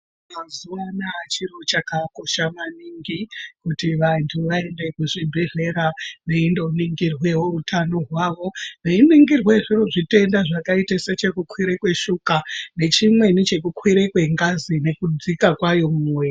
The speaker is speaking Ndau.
Muzuvaanaa chiro chakakosha maningi kuti vantu vaende kuzvibhedhlera veindoningirwewo utano hwavo. Veiningirwe zviro zvitenda zvakaite sechekukwire kweshuka nechimweni chekukwire kwengazi nekudzika kwayo mumwiiri.